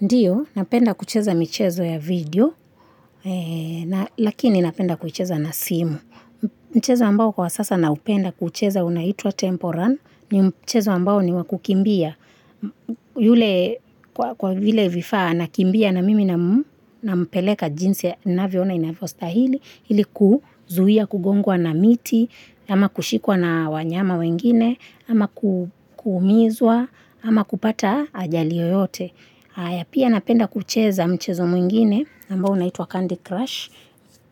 Ndiyo, napenda kucheza michezo ya video, lakini napenda kucheza na simu. Michezo ambao kwa sasa naupenda kuucheza unaitwa Temple run, ni michezo ambao ni wa kukimbia. Yule, kwa vile vifaa, nakimbia na mimi na mpeleka jinsi navyoona inavyo stahili, hili kuzuhia, kugongwa na miti, ama kushikwa na wanyama wengine, ama kuumizwa, ama kupata ajali yoyote. Pia napenda kucheza mchezo mwingine ambao unaitwa Candy Crush.